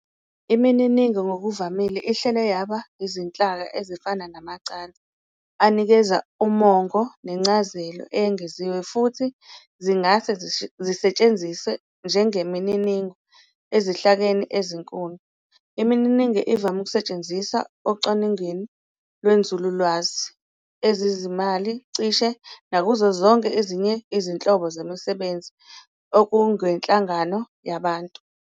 Imininigo ngokuvamile ihlelwa yaba izinhlaka ezifana namacansi anikeza umongo nencazelo eyengeziwe, futhi zingase zisetshenziswe njengemininigo ezinhlakeni ezinkulu. Imininingo ivame ukusetshenziswa ocwaningweni lwenzululwazi, ezezimali, cishe nakuzo zonke ezinye izinhlobo zemsebenzi engokwenhlangano yabantu.